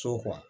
So